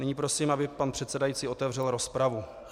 Nyní prosím, aby pan předsedající otevřel rozpravu.